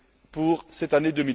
pour cette année